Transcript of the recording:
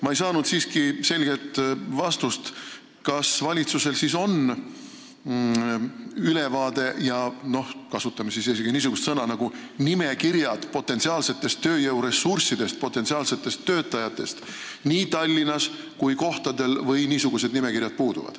Ma ei saanud siiski selget vastust, kas valitsusel on ülevaade – kasutame isegi sellist sõna nagu "nimekirjad" – potentsiaalsest tööjõuressursist, potentsiaalsetest töötajatest nii Tallinnas kui kohtadel või niisugused nimekirjad puuduvad.